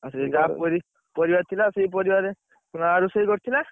ସିଏ ଯାହା ପରିବା ଥିଲା ସେଇ ପରିବା ରେ, ମା ରୋଷେଇ କରିଥିଲା।